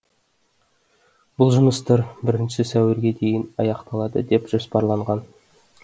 бұл жұмыстар бірінші сәуірге дейін аяқталады деп жоспарланған